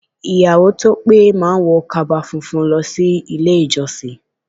Ìyàwó to pé má ń wọ kaba funfun lọ sí ilé ìjọsìn.